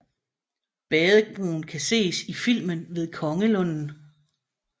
Badebroen kan ses i filmen Ved Kongelunden